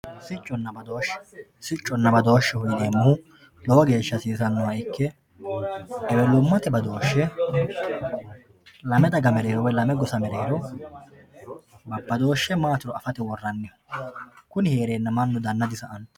sicconna badooshshe sicconna badooshsheho yineemmohu lowo geeshsha hasiisannoha ikke ewelummate badooshshe lama daga mereero woyi lame gosa mereero badooshshe maatiro afate worranni kuni hereenna mannu danna disa'anno